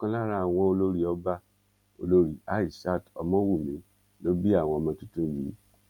ọkan lára àwọn olórí ọba olórí aishat ọmọwunmi ló bí àwọn ọmọ tuntun yìí